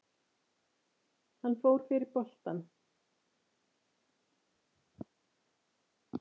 Hann fór yfir boltann.